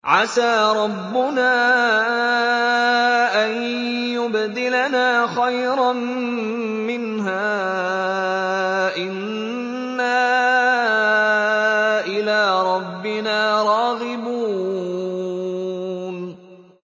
عَسَىٰ رَبُّنَا أَن يُبْدِلَنَا خَيْرًا مِّنْهَا إِنَّا إِلَىٰ رَبِّنَا رَاغِبُونَ